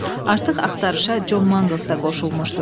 Artıq axtarışa Con Manqles də qoşulmuşdu.